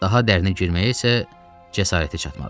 Daha dərinə girməyə isə cəsarəti çatmadı.